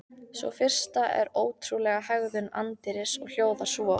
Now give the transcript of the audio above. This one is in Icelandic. Sú fyrsta er um ótrúlega hegðun anddyris og hljóðar svo